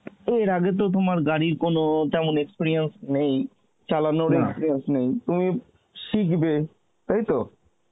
এর আগে তো তোমার গাড়ির কোন তেমন experience নেই চালানোর experience নেই তুমি শিখবে তাইতো?